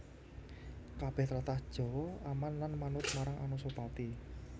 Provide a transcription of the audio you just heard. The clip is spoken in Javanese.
Kabèh tlatah Jawa aman lan manut marang Anusapati